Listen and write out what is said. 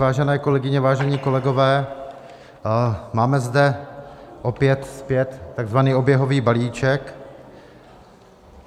Vážené kolegyně, vážení kolegové, máme zde opět zpět takzvaný oběhový balíček.